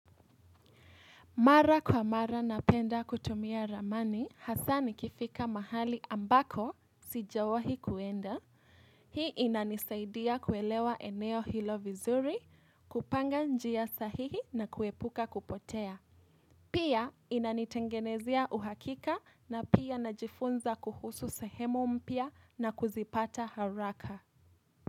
Mara kwa mara napenda kutumia ramani hasaa nikifika mahali ambako sijawahi kuenda. Hii inanisaidia kuelewa eneo hilo vizuri kupanga njia sahihi na kuepuka kupotea. Pia inanitengenezia uhakika na pia najifunza kuhusu sehemu mpya na kuzipata haraka.